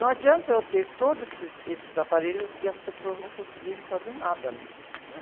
Não adianta eu ter todos esses, esses aparelhos e as pessoas não conseguirem fazer nada neles, né?